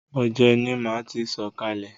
Òjé ni máa ti sọ̀kalè.